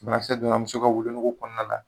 Banakisɛ donna muso ka wolonugu kɔnɔna na